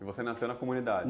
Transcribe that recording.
E você nasceu na comunidade?